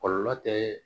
Kɔlɔlɔ tɛ